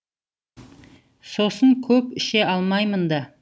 сосын көп іше алмаймын да